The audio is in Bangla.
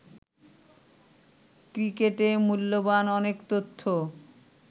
ক্রিকেটে মূল্যবান অনেক তথ্য